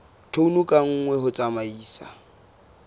tone ka nngwe ho tsamaisa